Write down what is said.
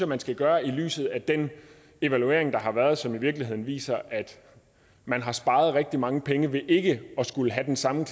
man skal gøre i lyset af den evaluering der har været og som i virkeligheden viser at man har sparet rigtig mange penge ved ikke at skulle have den samme